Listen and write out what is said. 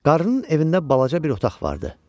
Qarının evində balaca bir otaq vardı.